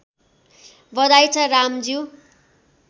बधाइ छ रामज्यू